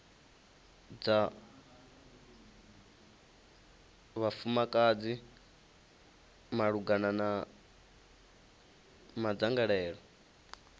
dza vhafumakadzi malugana na madzangalelo